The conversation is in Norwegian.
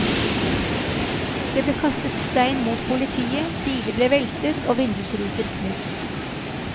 Det ble kastet stein mot politiet, biler ble veltet og vindusruter knust.